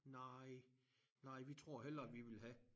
Nej nej vi tror hellere vi vil have